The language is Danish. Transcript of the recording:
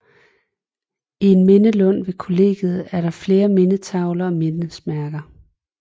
I en mindelund ved kollegiet er der flere mindetavler og mindesmærker